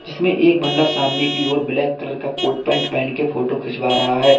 जिसमे एक बंदा सामने की ओर ब्लैक कलर का कोट पैंट पहन के फोटो खिंचवा रहा है।